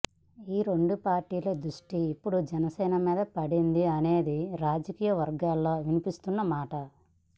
ఈ రెండు పార్టీలు ద్రుష్టి ఇప్పుడు జనసీన మీద పడింది అనేది రాజకీయ వర్గాలలో వినిపిస్తున్న మాట